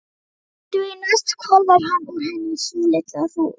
Því næst hvolfir hann úr henni í svolitla hrúgu.